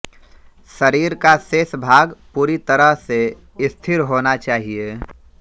शरीर का शेष भाग पूरी तरह से स्थिर होना चाहिये